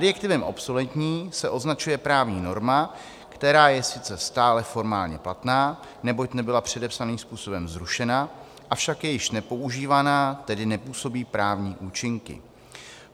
Adjektivem obsoletní se označuje právní norma, která je sice stále formálně platná, neboť nebyla předepsaným způsobem zrušena, avšak je již nepoužívaná, tedy nepůsobí právní účinky.